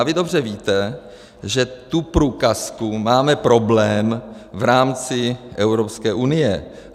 A vy dobře víte, že tu průkazku, máme problém v rámci Evropské unie.